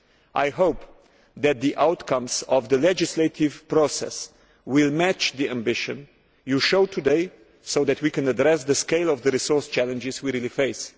I hope that the outcomes of the legislative process will match the ambition you show today so that we can address the scale of the resource challenges we really face.